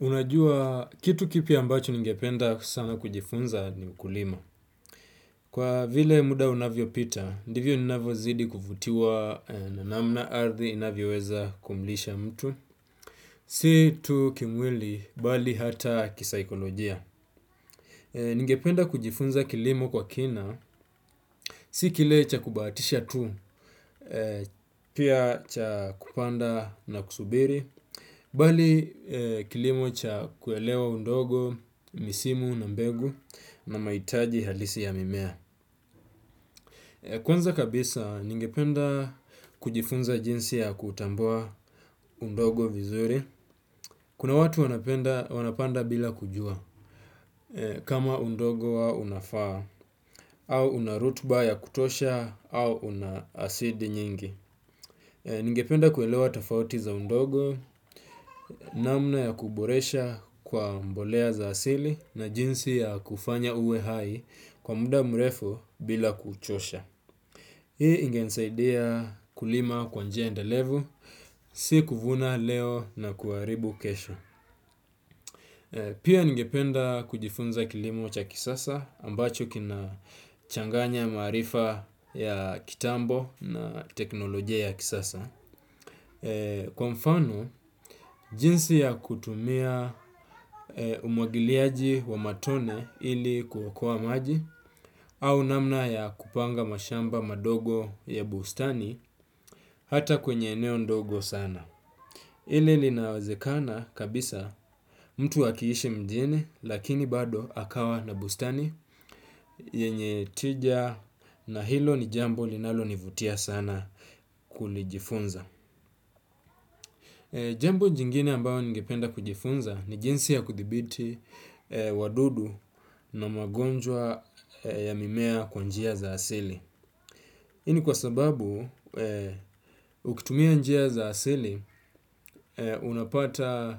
Unajua kitu kipya ambacho ningependa sana kujifunza ni ukulima. Kwa vile muda unavyo pita, ndivyo ninavyo zidi kuvutiwa na namna ardhi inavyo weza kumlisha mtu. Si tu kimwili, bali hata kisaikolojia. Ningependa kujifunza kilimo kwa kina. Si kile cha kubahatisha tu, pia cha kupanda na kusubiri. Bali kilimo cha kuelewa undogo, misimu na mbegu na mahitaji halisi ya mimea. Kwanza kabisa, ningependa kujifunza jinsi ya kutambua undogo vizuri. Kuma watu wanapanda bila kujua kama undogo wa unafaa au una rutba ya kutosha au una asidi nyingi. Ningependa kuelewa tofauti za undogo, namna ya kuboresha kwa mbolea za asili na jinsi ya kufanya uwe hai kwa muda mrefu bila kuchosha. Hii ingenisaidia kulima kwa njia endelevu, si kuvuna leo na kuharibu kesho. Pia ningependa kujifunza kilimo cha kisasa ambacho kina changanya maarifa ya kitambo na teknolojia ya kisasa. Kwa mfano, jinsi ya kutumia umwagiliaji wa matone ili kuokoa maji au namna ya kupanga mashamba madogo ya bustani hata kwenye eneo ndogo sana ile linawezekana kabisa mtu akiishi mjini lakini bado akawa na bustani yenye tija na hilo ni jambo linalo nivutia sana kulijifunza. Jambo jingine ambayo ningependa kujifunza ni jinsi ya kudhibiti wadudu na magonjwa ya mimea kwa njia za asili. Hii ni kwa sababu ukitumia njia za asili unapata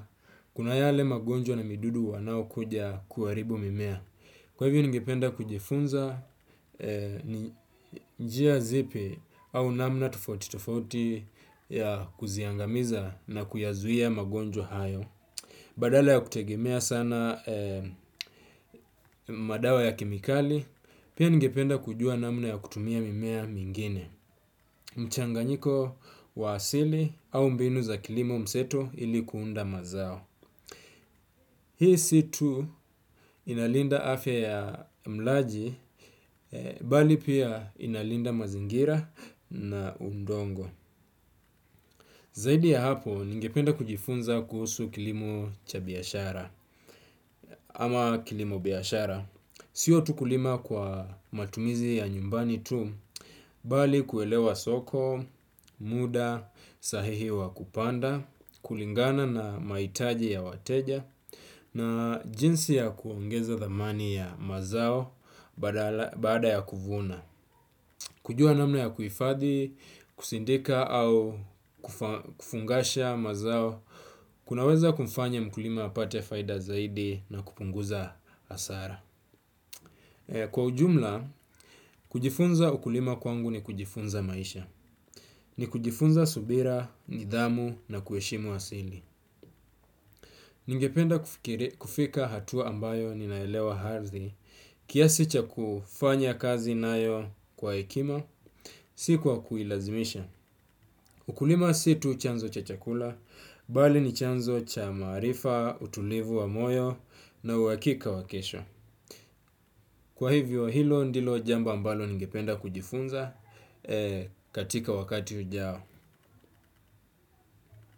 kuna yale magonjwa na midudu wanao kuja kuharibu mimea. Kwa hivyo ningependa kujifunza ni njia zipi au namna tufauti tufauti ya kuziangamiza na kuyazuia magonjwa hayo. Badala ya kutegemea sana madawa ya kemikali pia ningependa kujua namna ya kutumia mimea mengine. Mchanganyiko wa asili au mbinu za kilimo mseto ili kuunda mazao. Hii si tu inalinda afya ya mlaji bali pia inalinda mazingira na udongo. Zaidi ya hapo, ningependa kujifunza kuhusu kilimo cha biashara ama kilimo biashara. Sio tu kulima kwa matumizi ya nyumbani tu, bali kuelewa soko, muda sahihi wa kupanda, kulingana na mahitaji ya wateja na jinsi ya kuongeza thamani ya mazao baada ya kuvuna. Kujua namna ya kuhifadhi, kusindika au kufungasha mazao kunaweza kumfanya mkulima apate faida zaidi na kupunguza hasara. Kwa ujumla, kujifunza ukulima kwangu ni kujifunza maisha. Ni kujifunza subira, nidhamu na kuheshimu asili. Ningependa kufika hatua ambayo ninaelewa hardhi kiasi cha kufanya kazi nayo kwa hekima, si kwa kuilazimisha. Ukulima si tu chanzo cha chakula, bali ni chanzo cha maarifa, utulivu wa moyo na uhakika wa kesho. Kwa hivyo hilo ndilo jambo ambalo ningependa kujifunza katika wakati ujao.